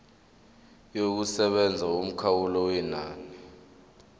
yokusebenza yomkhawulo wenani